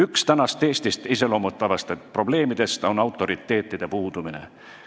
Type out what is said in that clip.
Üks praegust Eestit iseloomustavatest probleemidest on autoriteetide puudumine.